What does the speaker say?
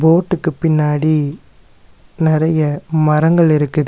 போட்டுக்கு பின்னாடி நெறைய மரங்கள் இருக்குது.